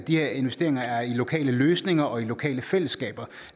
de her investeringer er i lokale løsninger og i lokale fællesskaber